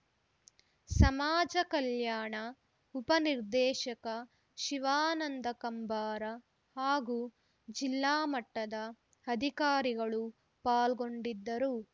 ಸಮಾಜ ಕಲ್ಯಾಣ ಉಪ ನಿರ್ದೇಶಕ ಶಿವಾನಂದ ಕಂಬಾರ ಹಾಗೂ ಜಿಲ್ಲಾ ಮಟ್ಟದ ಅಧಿಕಾರಿಗಳು ಪಾಲ್ಗೊಂಡಿದ್ದರು